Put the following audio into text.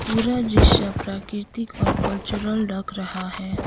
पुरा दृश्य प्राकृतिक और कल्चरल लग रहा है।